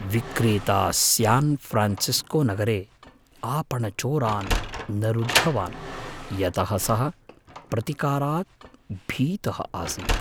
विक्रेता स्यान् फ़्रान्सिस्कोनगरे आपणचोरान् न रुद्धवान्, यतः सः प्रतिकारात् भीतः आसीत्।